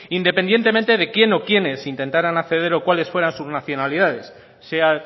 independientemente de quién o quiénes intentaran acceder o cuales fueran sus nacionalidades sea